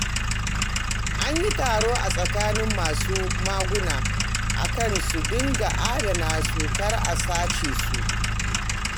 An yi taro a tsakanin masu maguna a kan su dinga adana su kar a sace su